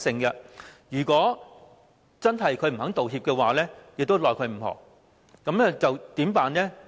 如真的不願意道歉，也是無可奈何，那麼該怎麼辦呢？